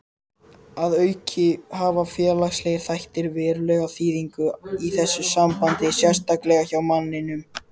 Að auki hafa félagslegir þættir verulega þýðingu í þessu sambandi, sérstaklega hjá manninum.